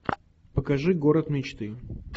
покажи город мечты